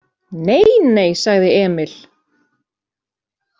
Nei, nei, sagði Emil.